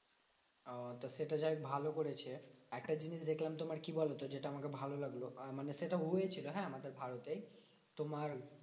ওহ তো সেটা যাইহোক ভালো করেছে। একটা জিনিস দেখলাম তোমার কি বলতো? যেটা আমাকে ভালো লাগলো আহ মানে সেটা হয়েছিল হ্যাঁ? আমাদের ভারতেই। তোমার